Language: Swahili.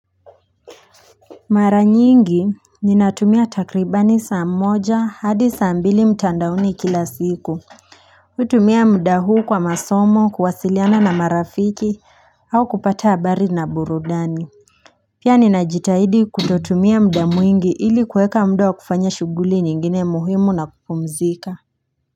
Mara nyingi ninatumia takribani saa mmoja hadi saa mbili mtandaoni kila siku hutumia mda huu kwa masomo kuwasiliana na marafiki au kupata habari na burudani Pia ninajitahidi kutotumia mda mwingi ili kuweka mda wa kufanya shughuli nyingine muhimu na kupumzika.